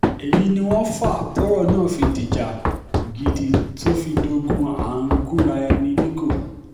èyí ni wọ́n fa tọ́rọ̀ náà fi dìjà gidi tó fi dógùn à ń gúnra ẹni nígọ̀